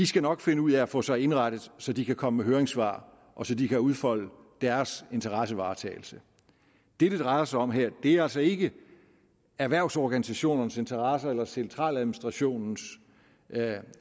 skal nok finde ud af at få sig indrettet så de kan komme med høringssvar og så de kan udfolde deres interessevaretagelse det det drejer sig om her er altså ikke erhvervsorganisationernes interesse eller centraladministrationens